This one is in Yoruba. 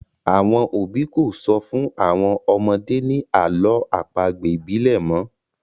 Àwọn òbí kò sọ fún àwọn ọmọdé ni àlọ́ àpagbè ibile mọ